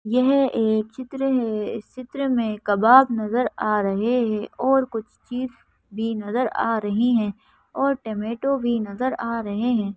यह एक चित्र है इस चित्र में कबाब नज़र आ रहे है और कुछ चीज़ भी नजर आ रही हैं और टोमेटो भी नज़र आ रहे हैं।